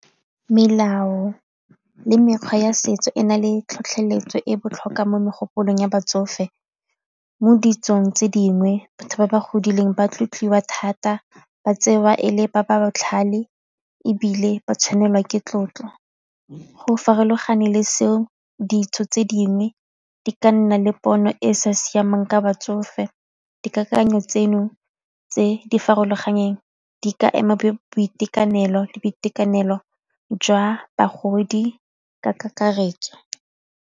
Melao le mekgwa ya setso e na le tlhotlheletso e botlhokwa mo megopolong ya batsofe, mo ditsong tse dingwe batho ba ba godileng ba tlotliwa thata ba tseiwa e le ba ba botlhale ebile ba tshwanelwa ke tlotlo. Go farologana le seo ditso tse dingwe di ka nna le pono e e sa siamang ka batsofe, dikakanyo tseno tse di farologaneng di ka ema boitekanelo le boitekanelo jwa bagodi ka kakaretso.